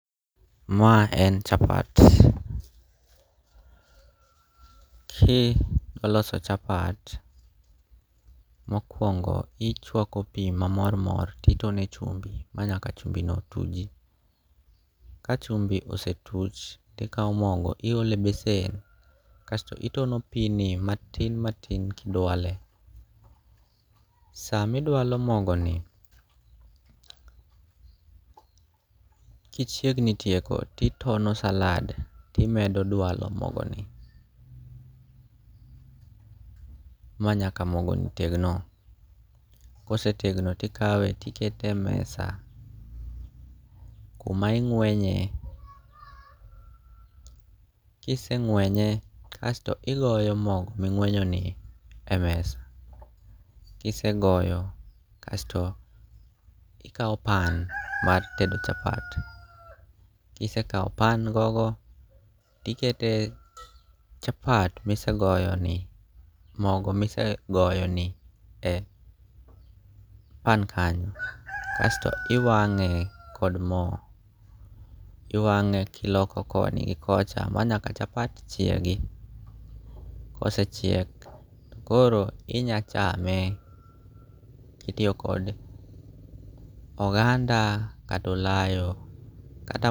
Ma en chapat, ki dwa loso chapat mokwongo ichwako pi ma mor mor titone chumbi ma nyaka chumbi no tuji. Ka chumbi osetuch tikawo mogo iole besen, kasto itono pini matin matin kidwale. Samidwalo mogo ni, kichiegni tieko titono salad timedo dualo mogo ni manyaka mogo ni tegno. Kosetegno tikawe tikete mesa kuma ing'wenye, kiseng'wenye kasto igoyo mogo ming'wenyoni e mesa. Kisegoyo kasto ikawo pan mar tedo chapat, kisekawo pan go go, tikete chapat misegoyo ni mogo misegoyo ni e pan kanyo. Kasto iwang'e kod mo, iwang'e kiloko koni gi kocha ma nyaka chapt chiegi. Kosechiek to koro inya chame kitiyo kod oganda katolayo. Kata.